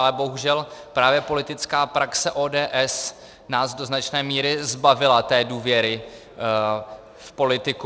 Ale bohužel právě politická praxe ODS nás do značné míry zbavila té důvěry v politiku.